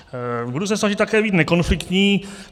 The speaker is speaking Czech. Budu se snažit také být nekonfliktní.